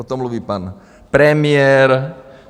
O tom mluví pan premiér.